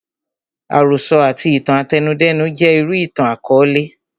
Àròsọ àti itan àtẹnudẹ́nu jẹ́ irú ìtàn àkọọlẹ